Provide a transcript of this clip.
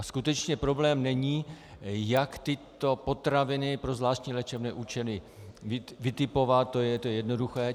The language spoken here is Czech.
A skutečně problém není, jak tyto potraviny pro zvláštní léčebné účely vytipovat, to je jednoduché.